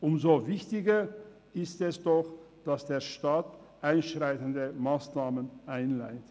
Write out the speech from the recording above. Umso wichtiger ist es doch, dass der Staat einschreitende Massnahmen einleitet!